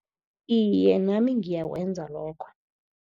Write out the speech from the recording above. Iye, nami ngiyakwenza lokho.